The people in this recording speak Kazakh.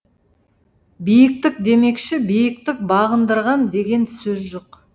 биіктік демекші биіктік бағындырған деген сөз жоқ